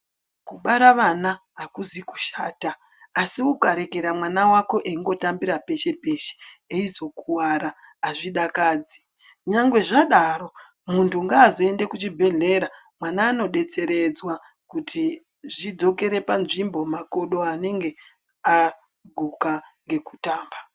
Kuzvibhedhlere nekundau dzinodetserwa antu kune ndau dzine mishina yemhando yepamusoro yedera-dera. Mishina iyi inoshandiswe kuvheneke makodo kuvheneke ngazi, kuvheneke mitundo, imwe inoshandiswe kuringire mitombo.